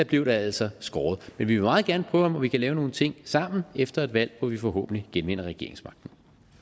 blev der altså skåret men vi vil meget gerne prøve om vi kan lave nogle ting sammen efter et valg hvor vi forhåbentlig genvinder regeringsmagten